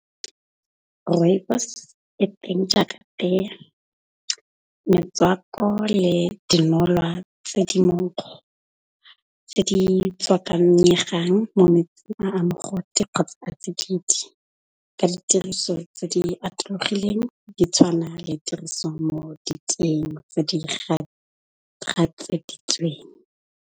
Rooibos e teng jaaka tee. Metswako le dinolwa tse di monkgo tse di tswakanyegang mo metsing a mogote kgotsa a tsididi. Ka ditiriso tse di atologileng di tshwana le tiriso mo diteng tse di gatseditsweng.